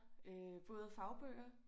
Øh både fagbøger